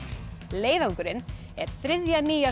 leiðangurinn er þriðja nýja